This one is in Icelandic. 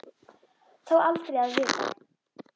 Þó aldrei að vita.